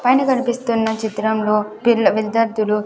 పైన కనిపిస్తున్న చిత్రంలో పిల్ల విద్యార్థులు.